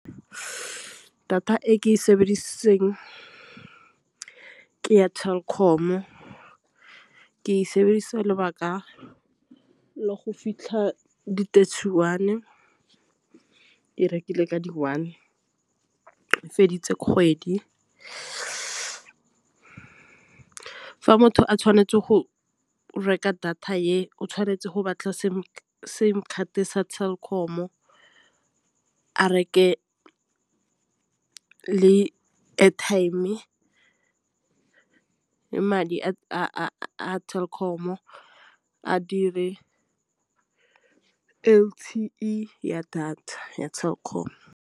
Data e ke e sebedisitseng ke ya Telkom-o ke e sebedisa lobaka la go fitlha di-thirty one. Ke e rekile ka di one e feditse kgwedi. Fa motho a tshwanetse go reka data e o tshwanetse go batla simcard ya Telkom reke le airtime e madi a Telkom-o L_T_E ya data ya Telkom.